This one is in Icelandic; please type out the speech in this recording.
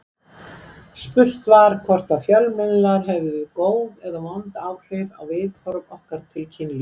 Spurt var hvort að fjölmiðlar hefðu góð eða vond áhrif á viðhorf okkar til kynlífs.